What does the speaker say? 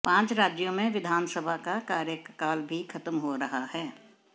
पांच राज्यों में विधानसभा का कार्यकाल भी खत्म हो रहा है